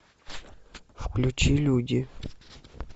включи люди